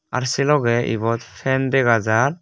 ar sei logey ibot fan dega jar.